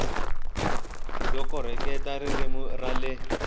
yo koreketa ririmi ra le